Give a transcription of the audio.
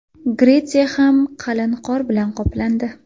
Gretsiya ham qalin qor bilan qoplandi .